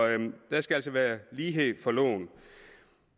der skal altså være lighed for loven